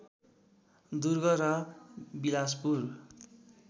दुर्ग र बिलासपुर